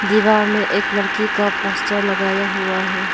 दीवार में एक लड़की का पोस्टर लगाया हुआ है।